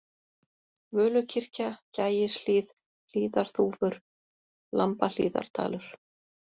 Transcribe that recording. Völukirkja, Gægishlíð, Hlíðarþúfur, Lambahlíðardalur